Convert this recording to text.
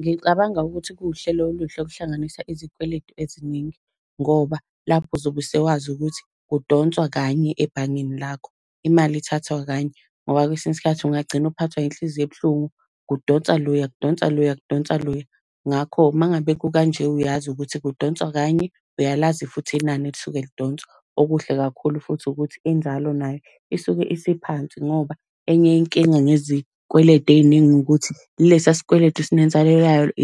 Ngicabanga ukuthi kuwuhlelo oluhle ukuhlanganisa izikweletu eziningi, ngoba lapho uzobe sewazi ukuthi kudonswa kanye ebhangeni lakho, imali ithathwa kanye. Ngoba kwesinye isikhathi ungagcina uphathwa yinhliziyo ebuhlungu, kudonsa loya, kudonsa loya kudonsa loya. Ngakho, uma ngabe kukanje uyazi ukuthi kudonswa kanye, uyalazi futhi inani elisuke lidonswa. Okuhle kakhulu futhi ukuthi inzalo nayo isuke isiphansi ngoba enye inkinga ngezikweletu ey'ningi ukuthi kulesa sikweletu